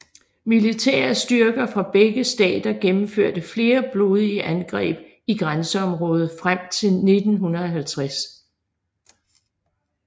Militære styrker fra begge stater gennemførte flere blodige angreb i grænseområdet frem til 1950